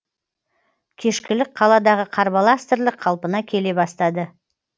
кешкілік қаладағы қарбалас тірлік қалпына келе бастады